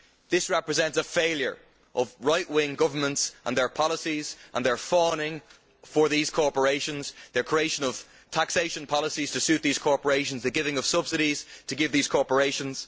This represents a failure of right wing governments and their policies, and their fawning over these corporations the creation of taxation policies to suit these corporations and the giving of subsidies to these corporations.